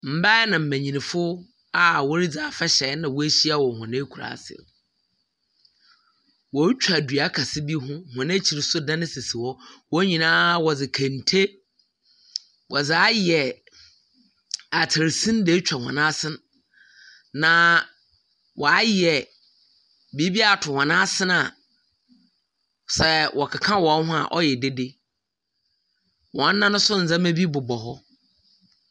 Mbaa na mbenyinfo a woridzi afahyɛ na woehyia wɔ hɔ ekuraase. Wɔretwa dua kɛse bi ho. Hɔn ekyir nso dan sisi hɔ. Hɔn nyinaa wɔdze kente wɔdze ayɛ atar sin dze etwa hɔn asen, na wɔayɛ biribi ato hɔn asen a sɛ wɔketa hɔn ho a ɔyɛ dede. Hɔn nan nso, ndzɛmba bi bobɔ hɔ.